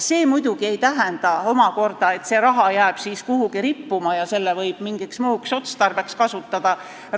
See muidugi omakorda ei tähenda, et see raha jääb kuhugi rippuma ja seda võib mingiks muuks otstarbeks kasutada.